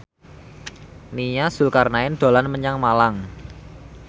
Nia Zulkarnaen dolan menyang Malang